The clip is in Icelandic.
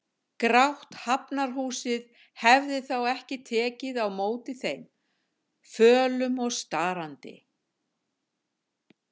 Grátt Hafnarhúsið hefði þá ekki tekið á móti þeim, fölum og starandi.